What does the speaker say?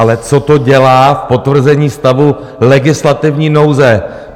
Ale co to dělá v potvrzení stavu legislativní nouze?